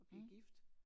Blev gift